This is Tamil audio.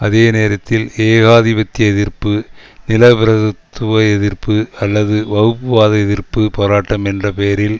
அதே நேரத்தில் ஏகாதிபத்திய எதிர்ப்பு நிலபிரபுத்துவ எதிர்ப்பு அல்லது வகுப்புவாத எதிர்ப்பு போராட்டம் என்ற பெயரில்